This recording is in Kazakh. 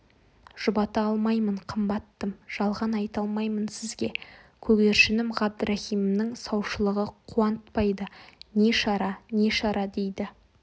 жұбата алмаймын қымбаттым жалған айта алмаймын сізге көгершінім ғабдрахимның саушылығы қуантпайды не шара не шара дейді